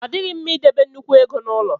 Ọ dịghị mma idebe nnukwu ego n'ụlọ.